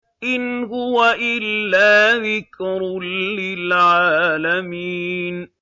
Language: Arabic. إِنْ هُوَ إِلَّا ذِكْرٌ لِّلْعَالَمِينَ